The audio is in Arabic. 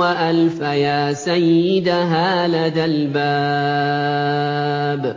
وَأَلْفَيَا سَيِّدَهَا لَدَى الْبَابِ ۚ